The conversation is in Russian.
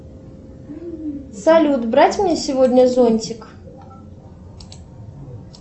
салют брать мне сегодня зонтик